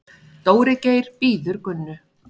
Dóri Geir bíður Gunnu.